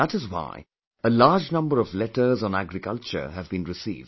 That is why a large number of letters on agriculture have been received